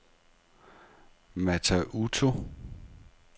Mata Utu